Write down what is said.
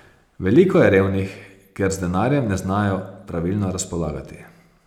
Veliko je revnih, ker z denarjem ne znajo pravilno razpolagati.